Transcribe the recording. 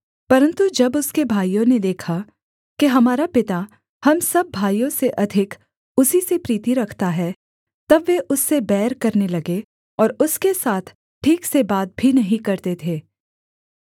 परन्तु जब उसके भाइयों ने देखा कि हमारा पिता हम सब भाइयों से अधिक उसी से प्रीति रखता है तब वे उससे बैर करने लगे और उसके साथ ठीक से बात भी नहीं करते थे